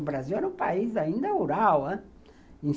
O Brasil era um país ainda rural